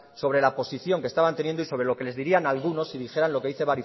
sobre la posición que estaban teniendo y sobre lo que les dirían algunos si dijera lo que dice